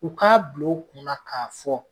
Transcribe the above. U k'a bila u kunna k'a fɔ